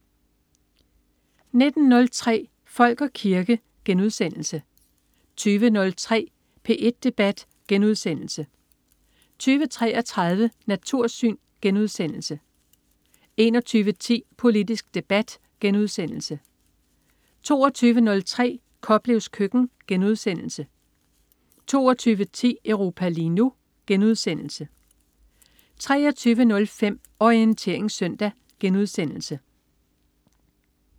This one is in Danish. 19.03 Folk og kirke* 20.03 P1 Debat* 20.33 Natursyn* 21.10 Politisk debat* 22.03 Koplevs køkken* 22.10 Europa lige nu* 23.05 Orientering søndag*